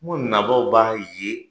Ko nabaaw b'a ye